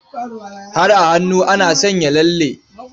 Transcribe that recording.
Har a hannu ana sanya lalle.